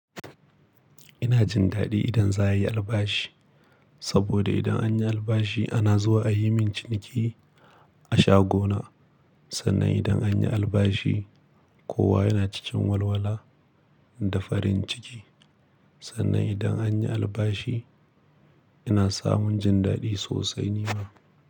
Ina jin daɗi idan za a yi albashi, saboda idan anyi albashi ana zuwa a yi min ciniki a shagona. Sannan idan anyi albashi kowa yana cikin walwala da farin ciki. Sannan idan anyi albashi ina samun jin daɗi sosai ni ma.